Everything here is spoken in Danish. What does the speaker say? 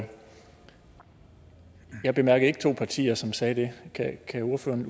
jeg bemærkede ikke to partier som sagde det kan ordføreren